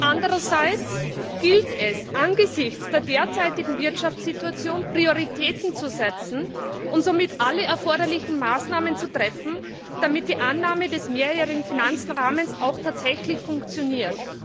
Andererseits gilt es, angesichts der derzeitigen Wirtschaftssituation Prioritäten zu setzen und somit alle erforderlichen Maßnahmen zu treffen, damit die Annahme des Mehrjährigen Finanzrahmens auch tatsächlich funktioniert.